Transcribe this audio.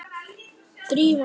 Drífa mín?